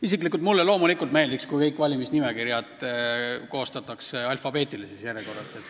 Isiklikult mulle meeldiks, kui kõik valimisnimekirjad koostataks alfabeetilises järjekorras.